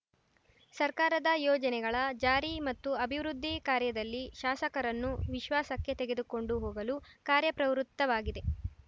ಸರ್ಕಾರದ ಯೋಜನೆಗಳ ಜಾರಿ ಮತ್ತು ಅಭಿವೃದ್ಧಿ ಕಾರ್ಯದಲ್ಲಿ ಶಾಸಕರನ್ನು ವಿಶ್ವಾಸಕ್ಕೆ ತೆಗೆದುಕೊಂಡು ಹೋಗಲು ಕಾರ್ಯಪ್ರವೃತ್ತವಾಗಿದೆ